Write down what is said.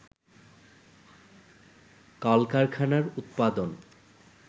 কলকারখানার উৎপাদন